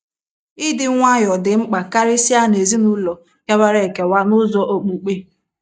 Ịdị nwayọọ dị mkpa karịsịa n’ezinụlọ kewara ekewa n’ụzọ okpukpe.